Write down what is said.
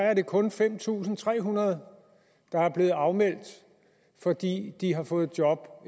er det kun fem tusind tre hundrede der er blevet afmeldt fordi de har fået job